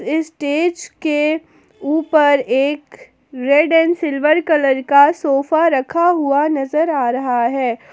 Stage के ऊपर एक रेड एंड सिल्वर कलर का सोफा रखा हुआ नजर आ रहा है।